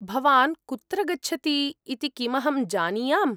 भवान् कुत्र गच्छति इति किमहं जानीयाम्?